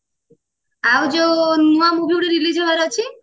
ଆଉ ଯୋଉ ନୂଆ movie ଗୁରା release ହବାର ଅଛି